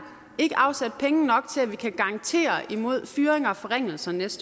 ikke afsat penge nok til at vi kan garantere imod fyringer og forringelser næste